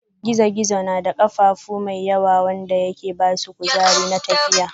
gizo-gizo na da kafafu mai yawa wanda yake basu kuzari na tafiya.